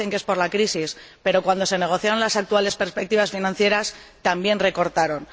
Ahora dicen que es por la crisis, pero cuando se negociaron las actuales perspectivas financieras también recortaron.